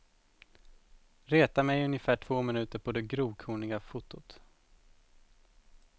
Retar mig i ungefär två minuter på det grovkorniga fotot.